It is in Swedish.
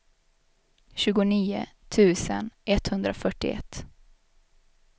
tjugonio tusen etthundrafyrtioett